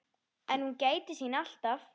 En hún gætir sín alltaf.